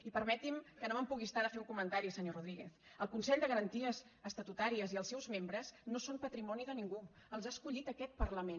i permeti’m que no me’n pugui estar de fer un comentari senyor rodríguez el consell de garanties estatutàries i els seus membres no són patrimoni de ningú els ha escollit aquest parlament